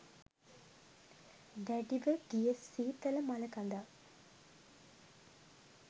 දැඩිව ගිය සීතල මළකඳක්.